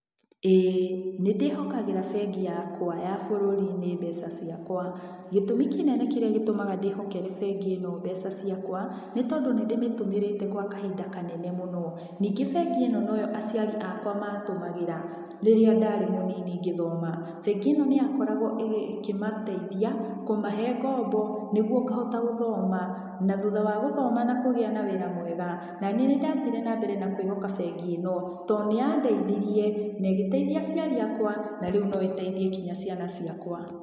Ĩĩ nĩ ndĩhokagĩra bengi yakwa ya bũrũri-inĩ mbeca ciakwa. Gĩtũmi kĩnene kĩrĩa gĩtũmaga ndĩhokere bengi ĩno mbeca ciakwa, nĩ tondũ nĩndĩmĩtũmĩrĩte gwa kahinda kanene mũno. Ningĩ bengi ĩno noyo aciari akwa matũmagĩra, rĩrĩa ndarĩ mũnini ngĩthoma. Bengi ĩno nĩyakoragwo ĩkĩmateithia, kũmahe ngombo, nĩguo ngahota gũthoma, na thutha wa gũthoma na kũgĩa na wĩra mwega, na niĩ nĩndathire na mbere kwĩhoka bengi ĩno, tondũ nĩyandeithirie, na ĩgĩteithia aciari akwa na rĩu no ĩteithie nginya ciana ciakwa.